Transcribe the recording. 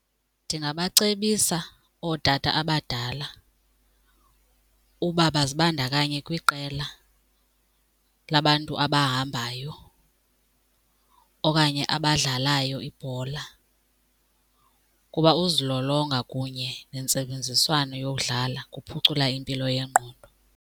Ndingabacebisa ootata abadala uba bazibandakanye kwiqela labantu abahambayo okanye abadlalayo ibhola kuba uzilolonga kunye nentsebenziswano yokudlala kuphucula impilo yengqondo.